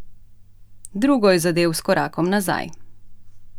Drugo je zadel s korakom nazaj.